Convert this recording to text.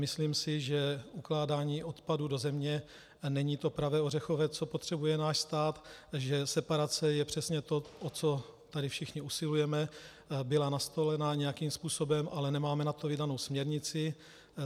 Myslím si, že ukládání odpadu do země není to pravé ořechové, co potřebuje náš stát, takže separace je přesně to, o co tady všichni usilujeme, byla nastolena nějakým způsobem, ale nemáme na to vydanou směrnici.